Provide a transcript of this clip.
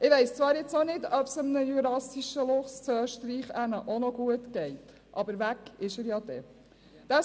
Ich weiss jetzt zwar auch nicht, ob es einem jurassischen Luchs in Österreich auch noch gut ginge, aber weg wäre er dann ja.